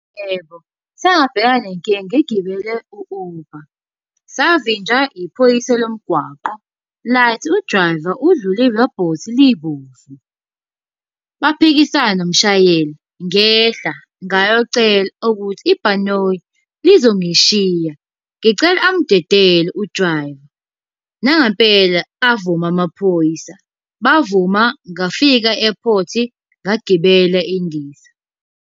Yebo, sabhekana nenkinga ngigibele u-Uber. Savinjwa iphoyisa lomgwaqo lathi u-driver udlule irobhothi libomvu. Baphikisana nomshayeli, ngehla, ngayocela ukuthi ibhanoyi lizongishiya, ngicela amudedele u-driver. Nangempela avuma amaphoyisa, bavuma ngafika e-airport ngagibela indiza.